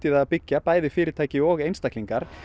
að byggja bæði fyrirtæki og einstaklingar